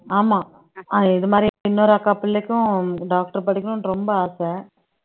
ஆமா இன்னொரு அஹ் இது மாதிரி இன்னொரு அக்கா பிள்ளைக்கும் doctor படிக்கணும்னு ரொம்ப ஆசை